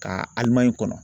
Ka Alimaɲi kɔnɔ.